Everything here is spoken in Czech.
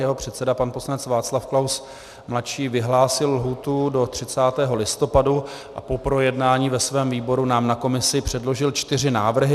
Jeho předseda pan poslanec Václav Klaus ml. vyhlásil lhůtu do 30. listopadu a po projednání ve svém výboru nám na komisi předložil čtyři návrhy.